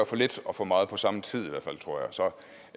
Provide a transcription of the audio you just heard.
for lidt og for meget på samme tid tror